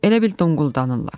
Elə bil donquldanırlar.